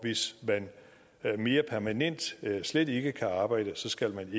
hvis man mere permanent slet ikke kan arbejde skal man